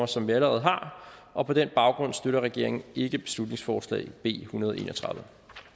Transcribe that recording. som vi allerede har og på den baggrund støtter regeringen ikke beslutningsforslag b ethundrede og enogtredivete